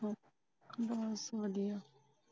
ਬਸ ਵਧੀਆ